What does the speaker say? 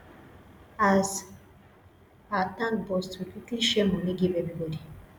as our tank burst we quickly share moni give everybody